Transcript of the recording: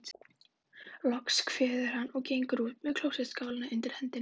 Loks kveður hann, og gengur út með klósettskálina undir hendinni.